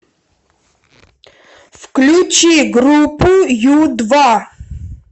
включи группу ю два